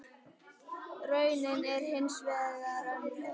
Raunin er hins vegar önnur.